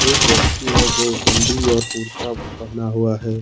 एक व्यक्ति है जो बंडी और कुर्ता पहना हुआ है।